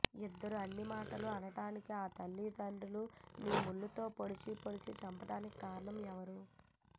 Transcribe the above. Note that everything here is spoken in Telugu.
ఇందరు ఇన్ని మాటలు అనటానికి ఆ తల్లి తండ్రీ నీ ముళ్ళు తో పొడిచి పొడిచి చంపటానికి కారణం ఎవరు